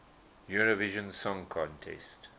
eurovision song contest